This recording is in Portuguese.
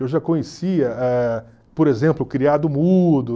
Eu já conhecia, eh, por exemplo, o criado mudo.